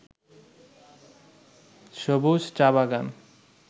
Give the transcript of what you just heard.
সবুজ চা-বাগান